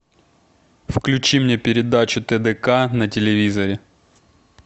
включи мне передачу тдк на телевизоре